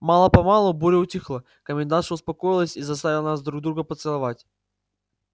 мало-помалу буря утихла комендантша успокоилась и заставила нас друг друга поцеловать